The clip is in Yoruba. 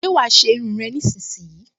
Ṣé wàá ṣe irun rẹ nísinsìnyí!